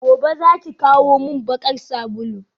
gobe zaki kawo min bakar sabulu?